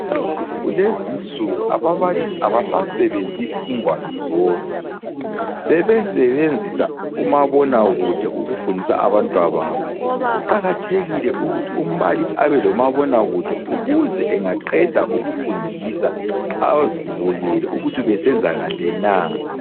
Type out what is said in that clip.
Kulezinsuku ababalisi abasasebenzisi ingwalo zodwa, sebesebenzisa umabona kude ukufundisa abantwababo .Kuqakathekile ukuthi umbalisi abelomabona kude ukuze engaqeda ukufundisa azibukele ukuthi ubesenza kahle na.